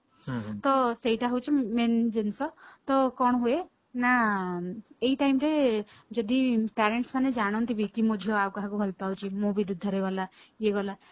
ତ ସେଇଟା ହଉଛି main ଜିନିଷ ତ କଣ ହୁଏ ନା ଏଇ time ରେ ଯଦି parents ମାନେ ଜାଣନ୍ତି ବି ମୋ ଛୁଆ ଆଉ କାହାକୁ ଭଲ ପାଉଛି ମୋ ବିରୁଦ୍ଧରେ ଗଲା ଏଇ ଗଲା